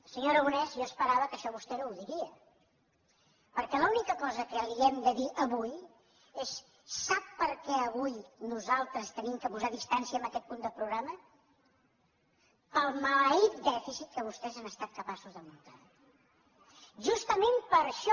senyor aragonès jo esperava que això vostè no ho diria perquè l’única cosa que li hem de dir avui és sap per què avui nosaltres hem de posar distància en aquest punt del programa pel maleït dèficit que vostès han estat capaços de muntar justament per això